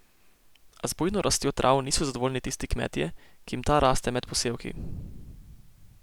A z bujno rastjo trav niso zadovoljni tisti kmetje, ki jim ta raste med posevki.